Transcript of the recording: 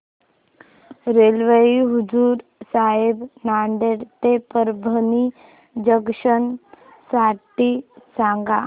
railway Hazur Sahib Nanded ते Parbhani junction साठी सांगा